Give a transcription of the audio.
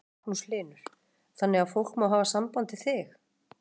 Magnús Hlynur: Þannig að fólk má hafa samband við þig?